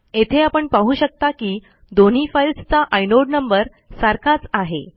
येथे आपण पाहू शकता की दोन्ही फाईल्सचा आयनोड नंबर सारखाच आहे